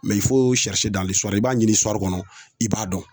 i b'a ɲini i b'a dɔn